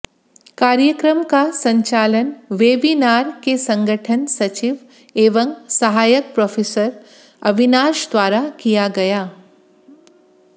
कार्यक्रम का संचालन वेबिनार के संगठन सचिव एवं सहायक प्रोफेसर अविनाश द्वारा किया गया